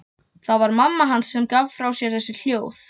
Það var mamma hans sem gaf frá sér þessi hljóð.